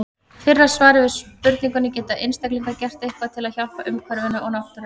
Fyrra svarið er við spurningunni Geta einstaklingar gert eitthvað til að hjálpa umhverfinu og náttúrunni?